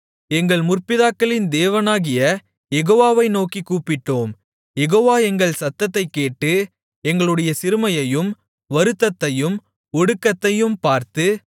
எங்கள் முற்பிதாக்களின் தேவனாகிய யெகோவாவை நோக்கிக் கூப்பிட்டோம் யெகோவா எங்கள் சத்தத்தைக் கேட்டு எங்களுடைய சிறுமையையும் வருத்தத்தையும் ஒடுக்கத்தையும் பார்த்து